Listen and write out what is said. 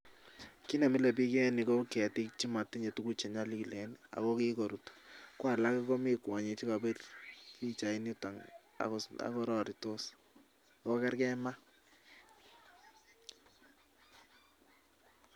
Kiit nemilebiik en yuu ko ketik chemotinye tukuk chenyolilen oo kikorut ko alak komii kwonyik chekobir pichainiton ak kororitos oo kerkee maa.